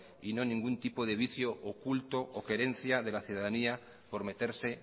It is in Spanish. y no ningún tipo de vicio oculto o querencia de la ciudadanía por meterse